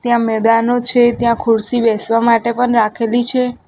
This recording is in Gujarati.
ત્યાં મેદાનો છે ત્યાં ખુરસી બેસવા માટે પણ રાખેલી છે.